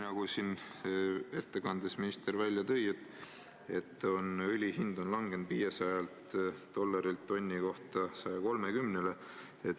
Nagu minister oma ettekandes välja tõi, on õli hind langenud 500-lt dollarilt tonni eest 130-ni.